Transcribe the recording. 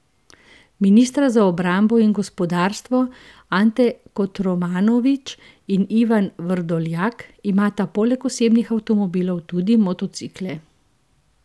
Ministra za obrambo in gospodarstvo, Ante Kotromanović in Ivan Vrdoljak, imata poleg osebnih avtomobilov tudi motocikle.